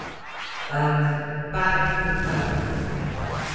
Padci, padci, padci ...